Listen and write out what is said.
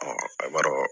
a b'a dɔn